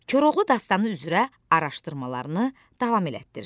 Koroğlu dastanı üzrə araşdırmalarını davam etdir.